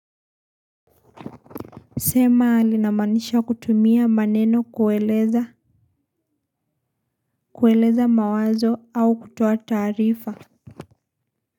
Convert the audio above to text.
Sema linamaanisha kutumia maneno kueleza mawazo au kutoa taarifa.